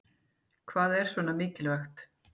Hvað er svona mikilvægt